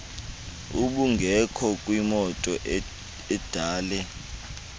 ubungekho kwimoto edale